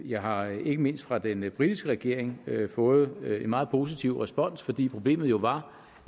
jeg har ikke mindst fra den britiske regering fået en meget positiv respons fordi problemet jo var